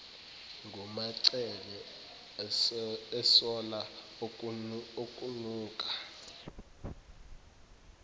ngumacele esola okunuka